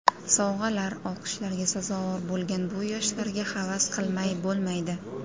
Sovg‘alar, olqishlarga sazovor bo‘lgan bu yoshlarga havas qilmay bo‘lmaydi.